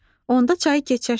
Onda çayı keçərsən.